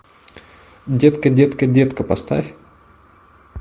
детка детка детка поставь